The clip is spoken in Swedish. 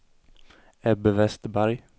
Ebbe Westberg